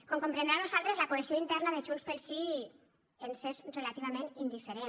com comprendran a nosaltres la cohesió interna de junts pel sí ens és relativament indiferent